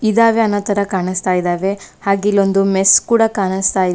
ಇದಾವೆ ಅನ್ನೋ ತರ ಕಾಣಸ್ತಾ ಇದಾವೆ ಹಾಗೆ ಇಲೊಂದು ಮೆಸ್ಸ್ ಕೂಡ ಕಾಣಸ್ತಾ ಇದೆ.